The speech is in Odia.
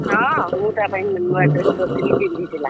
ହଁ ମୁଁ ତା ପାଇଁ ନୂଆ dress କରିଥିଲି ପିନ୍ଧିଥିଲା।